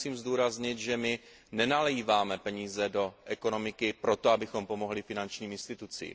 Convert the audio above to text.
Tady musím zdůraznit, že my nenaléváme peníze do ekonomiky proto, abychom pomohli finančním institucím.